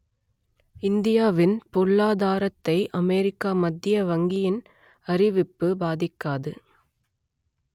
இந்தியாவின் பொருளாதாரத்தை அமெரிக்க மத்திய வங்கியின் அறிவிப்பு பாதிக்காது